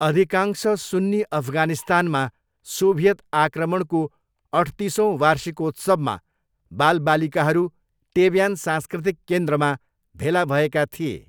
अधिकांश सुन्नी अफगानिस्तानमा सोभियत आक्रमणको अठतिसौँ वार्षिकोत्सवमा बालबालिकाहरू टेब्यान सांस्कृतिक केन्द्रमा भेला भएका थिए।